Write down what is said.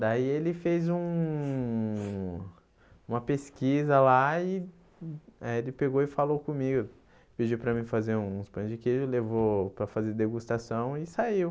Daí ele fez um uma pesquisa lá e eh ele pegou e falou comigo, pediu para mim fazer uns pães de queijo, levou para fazer degustação e saiu.